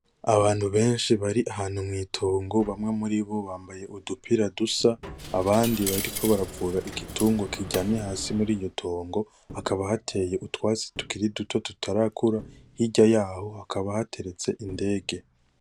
Abantu benshi bari ahantu mwitongo bamwe muribo bambaye udupira dusa abandi bariko baravura igitungwa kiryamye hasi muri iryotongo hakaba hateye utwatsi tukiri duto tutarakura hirya yaho hakaba hateretse indege.